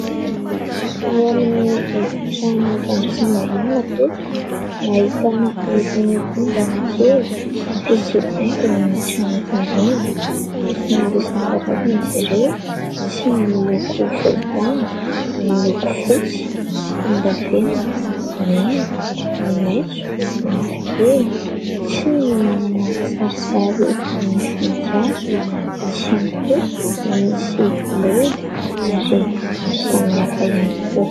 ao amin'ny efitrano fandraisam-bahiny no matetika no ahitana irony ondana kely mampisy haingon'ny trano irony sy maro isan-karazana izy ireo nisy ny miloko volontany ny miloko fotsy volon-davenina mena sy maitso ny mavokely nisy ny manana kisarisary eto ny voninkazo nisy ihany koa ny misy lolo ary samihafa ihany koa